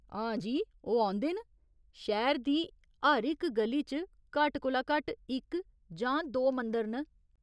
हां जी ओह् औंदे न। शैह्‌र दी हर इक ग'ली च घट्ट कोला घट्ट इक जां दो मंदर न।